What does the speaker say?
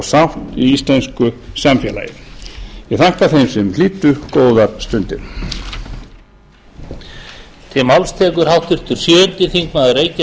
sátt í íslensku samfélagi ég þakka þeim sem hlýddu góðar stundir ræðu lokið bug kláraðist vonandi í fyrri spólu